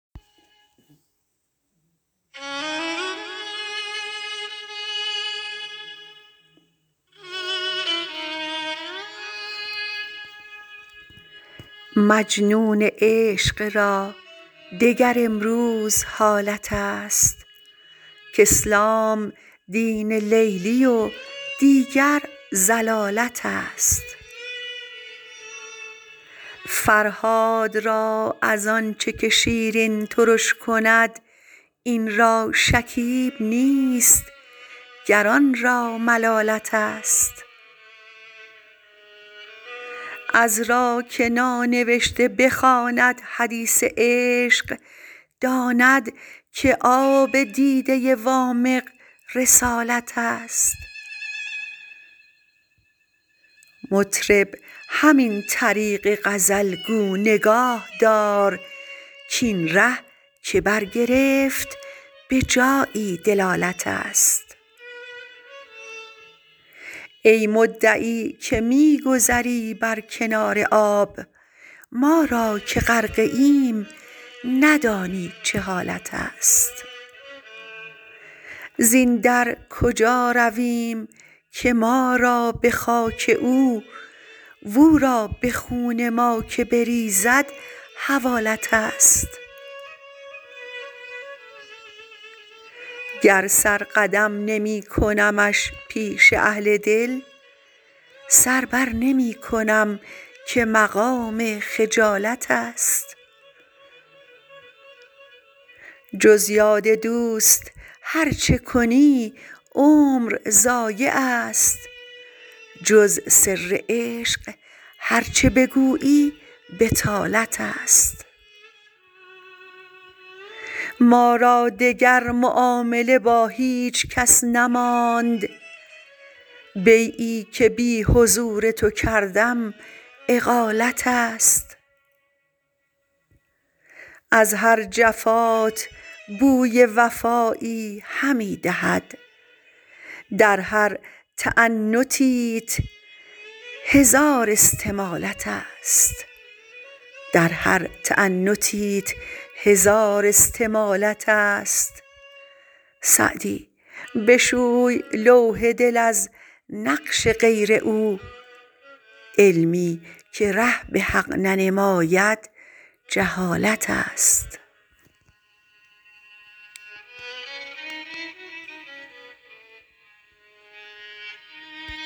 مجنون عشق را دگر امروز حالت است کاسلام دین لیلی و دیگر ضلالت است فرهاد را از آن چه که شیرین ترش کند این را شکیب نیست گر آن را ملالت است عذرا که نانوشته بخواند حدیث عشق داند که آب دیده وامق رسالت است مطرب همین طریق غزل گو نگاه دار کاین ره که برگرفت به جایی دلالت است ای مدعی که می گذری بر کنار آب ما را که غرقه ایم ندانی چه حالت است زین در کجا رویم که ما را به خاک او و او را به خون ما که بریزد حوالت است گر سر قدم نمی کنمش پیش اهل دل سر بر نمی کنم که مقام خجالت است جز یاد دوست هر چه کنی عمر ضایع است جز سر عشق هر چه بگویی بطالت است ما را دگر معامله با هیچ کس نماند بیعی که بی حضور تو کردم اقالت است از هر جفات بوی وفایی همی دهد در هر تعنتیت هزار استمالت است سعدی بشوی لوح دل از نقش غیر او علمی که ره به حق ننماید جهالت است